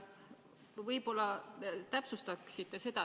Võib-olla te täpsustaksite.